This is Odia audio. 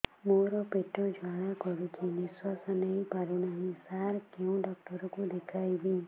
ମୋର ପେଟ ଜ୍ୱାଳା କରୁଛି ନିଶ୍ୱାସ ନେଇ ପାରୁନାହିଁ ସାର କେଉଁ ଡକ୍ଟର କୁ ଦେଖାଇବି